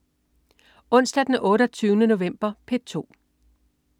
Onsdag den 28. november - P2: